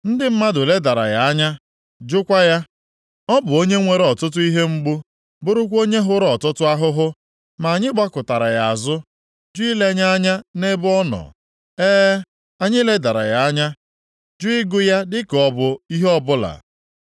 Ndị mmadụ ledara ya anya, jụkwa ya. Ọ bụ onye nwere ọtụtụ ihe mgbu, bụrụkwa onye hụrụ ọtụtụ ahụhụ. Ma anyị gbakụtara ya azụ, jụ ilenye anya nʼebe ọ nọ. E, anyị ledara ya anya, jụ ịgụ ya dịka ọ bụ ihe ọbụla.